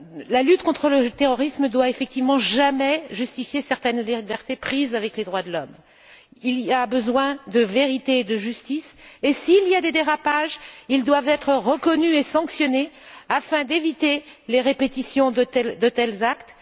La lutte contre le terrorisme ne doit effectivement jamais justifier certaines libertés prises avec les droits de l'homme. Il y a besoin de vérité et de justice et, s'il y a des dérapages, ils doivent être reconnus et sanctionnés afin d'éviter les répétitions de tels actes.